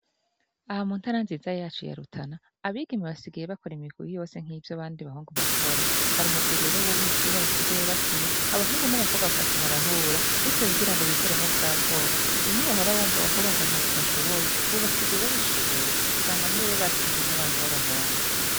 Aha muntara nziza yacu ya Rutana abigeme basigaye bakora imigwi yose nkivyo abandi bahungu bakora hari umugwi w'umupira basigaye bakina abahungu nabakobwa bakaza barahura gutyo bikuremwo bwabwoba bimwe wahora wumva ngo abakobwa ngo ntavyo badhibiye basigaye babikora ubu mbere usigay wumva ngo batsinze nabantu babahungu.